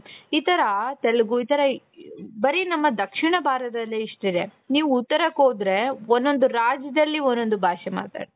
ಈ ತರ ತೆಲುಗು ಈ ತರ ಬರೀ ನಮ್ಮ ದಕ್ಷಿಣ ಭಾರತದಲ್ಲಿ ಎಷ್ಟಿದೆ ನೀವು ಉತ್ತರಕ್ಕೆ ಹೋದ್ರೆ ಒಂದೊಂದು ರಾಜ್ಯದಲ್ಲಿ ಒಂದೊಂದು ಭಾಷೆ ಮಾತಾಡ್ತಾರೆ.